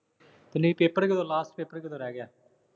ਨਈ paper ਕਦੋਂ ਆ। last paper ਕਦੋਂ ਰਹਿ ਗਿਆ।